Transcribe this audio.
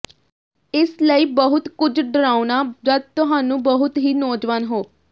ਇਸ ਲਈ ਬਹੁਤ ਕੁਝ ਡਰਾਉਣਾ ਜਦ ਤੁਹਾਨੂੰ ਬਹੁਤ ਹੀ ਨੌਜਵਾਨ ਹੋ